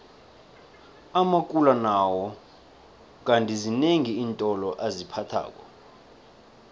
amakula nawo kandi zinengi iintolo aziphathako